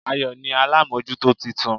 Ayò ni alámójútó titun